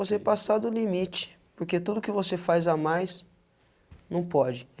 Você passar do limite, porque tudo que você faz a mais não pode.